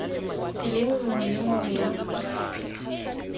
tseleng nngwe le nngwe ya